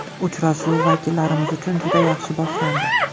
Uchrashuv vakillarimiz uchun juda yaxshi boshlandi.